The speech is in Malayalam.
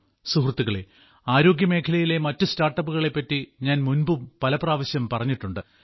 സുഹൃത്തുക്കളേ ആരോഗ്യമേഖലയിലെ മറ്റു സ്റ്റാർട്ടപ്പുകളെപ്പറ്റി ഞാൻ മുൻപും പലപ്രാവശ്യം പറഞ്ഞിട്ടുണ്ട്